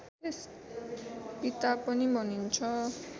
पिता पनि भनिन्छ